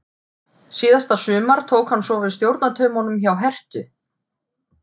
Síðasta sumar tók hann svo við stjórnartaumunum hjá Herthu.